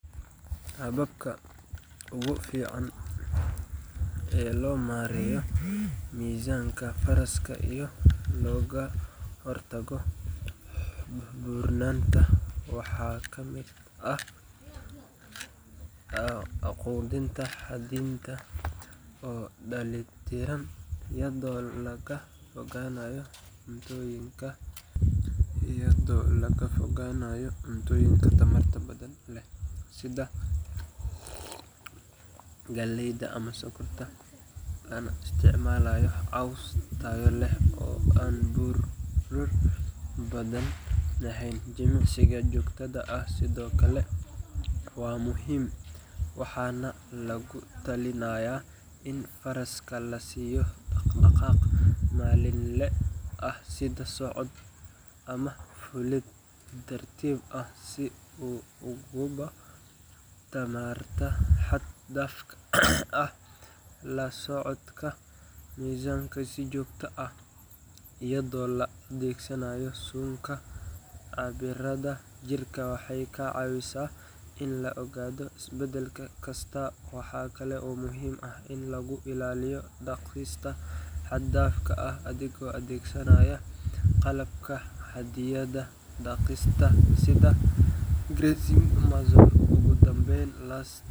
Hababka ugu fiican ee loo maareeyo miisaanka faraska iyo looga hortago buurnaanta waxaa ka mid ah quudin xadidan oo dheellitiran, iyadoo laga fogaanayo cuntooyinka tamarta badan leh sida galleyda ama sonkorta, lana isticmaalayo caws tayo leh oo aan baruur badan lahayn. Jimicsiga joogtada ah sidoo kale waa muhiim, waxaana lagu talinayaa in faraska la siiyo dhaqdhaqaaq maalinle ah sida socod ama fuulid tartiib ah si uu u gubo tamarta xad-dhaafka ah. La socoshada miisaanka si joogto ah, iyadoo la adeegsanayo suunka cabbiraadda jirka, waxay ka caawisaa in la ogaado isbeddel kasta. Waxaa kale oo muhiim ah in laga ilaaliyo daaqista xad-dhaafka ah adigoo adeegsanaya qalab xaddidaya daaqista sida grazing muzzle. Ugu dambayn, la.